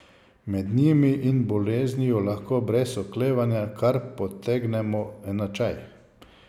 Med njimi in boleznijo lahko brez oklevanja kar potegnemo enačaj.